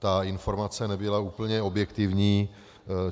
Ta informace nebyla úplně objektivní.